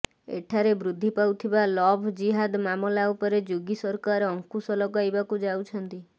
ଏଠାରେ ବୃଦ୍ଧି ପାଉଥିବା ଲଭ୍ ଜିହାଦ ମାମଲା ଉପରେ ଯୋଗୀ ସରକାର ଅଙ୍କୁଶ ଲଗାଇବାକୁ ଯାଉଛନ୍ତି